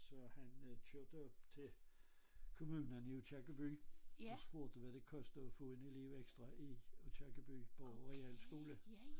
Så han kørte op til kommunen i Aakirkeby og spurgte hvad det kostede at få en elev ekstra i Aakirkeby på realskole